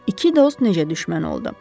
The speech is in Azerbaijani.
İki dost necə düşmən oldu?